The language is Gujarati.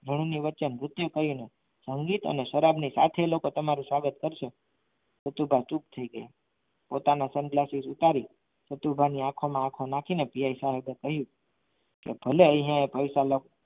ધૂળની વચ્ચે મૃત્યુ કરીને સંગીત અને શરાબની કાંઠે એ લોકો તમારું સ્વાગત કરશે ગયા પોતાના sun glasses ઉતારી શકવાની આંખોમાં આંખો નાખીને પીએ પીઆઇ સાહેબે કહ્યું કે ભલે એ અહીંયા પૈસા